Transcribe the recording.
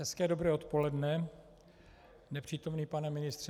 Hezké dobré odpoledne, nepřítomný pane ministře.